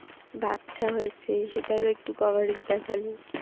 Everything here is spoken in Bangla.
বাচ্চা হয়েছে সেটার ও একটু coverage দেখালো